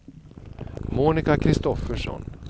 Monica Kristoffersson